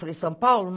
Falei, São Paulo?